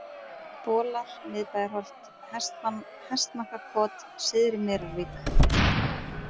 Bolar, Miðbæjarholt, Hestmakkaholt, Syðri-Merarvík